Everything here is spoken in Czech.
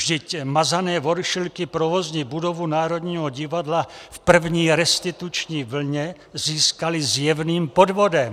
Vždyť mazané voršilky provozní budovu Národního divadla v první restituční vlně získaly zjevným podvodem.